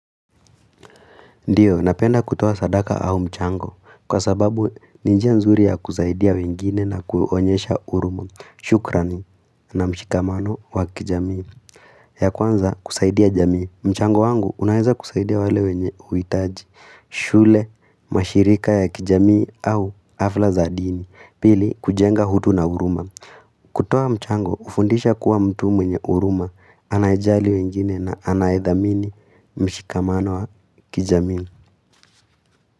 Ndiyo, napenda kutoa sadaka au mchango kwa sababu ni njia nzuri ya kusaidia wengine na kuonyesha huruma. Shukrani na mshikamano wa kijamii. Ya kwanza kusaidia jamii. Mchango wangu unaeza kusaidia wale wenye uhitaji, shule, mashirika ya kijamii au hafla za dini. Pili, kujenga utu na huruma. Kutoa mchango, hufundisha kuwa mtu mwenye huruma anayejali wengine na anayedhamini mshikamano wa kijamii.